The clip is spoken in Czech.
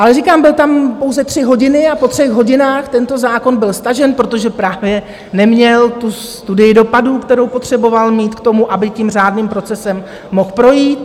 Ale říkám, byl tam pouze tři hodiny a po třech hodinách tento zákon byl stažen, protože právě neměl tu studii dopadů, kterou potřeboval mít k tomu, aby tím řádným procesem mohl projít.